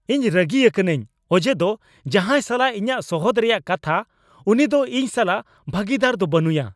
ᱤᱧ ᱨᱟᱹᱜᱤ ᱟᱠᱟᱱᱟᱹᱧ ᱚᱡᱮ ᱫᱚ ᱡᱟᱦᱟᱭ ᱥᱟᱞᱟᱜ ᱤᱧᱟᱹᱜ ᱥᱚᱦᱚᱫ ᱨᱮᱭᱟᱜ ᱠᱟᱛᱷᱟ ᱩᱱᱤ ᱫᱚ ᱤᱧ ᱥᱟᱞᱟᱜ ᱵᱷᱟᱹᱜᱤᱫᱟᱨ ᱫᱚ ᱵᱟᱹᱱᱩᱭᱟ ᱾